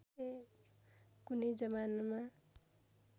कुनै जमानमा